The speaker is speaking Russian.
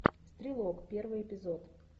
стрелок первый эпизод